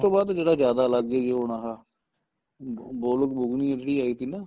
ਬਾਅਦ ਜਿਹੜਾ ਜਿਆਦਾ ਲੱਗ ਗਏ ਹੋਣ ਆਹ ਗੋਲਕ ਬੁਗਨੀ ਉਹਦੀ ਆਈ ਤੀ ਨਾ